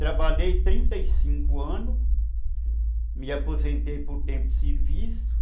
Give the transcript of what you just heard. Trabalhei trinto e cinco anos, me aposentei por tempo de serviço.